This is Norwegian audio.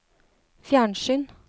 fjernsyn